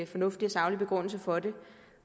fornuftig og saglig begrundelse for det